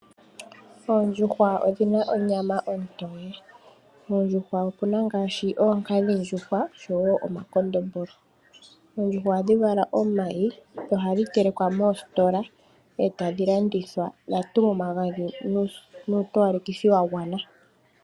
Oondjuhwa odhina onyama ontoye. Koondjuhwa okuna ngaashi oonkadhindjuhwa oshowo omakondombolo. Oondjuhwa ohadhi vala omayi dho ohadhi telekwa moositola etadhi landithwa dha tulwa omagadhi nuutowalekithi wagwana.